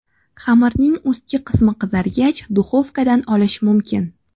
Xamirning ustki qismi qizargach, duxovkadan olish mumkin.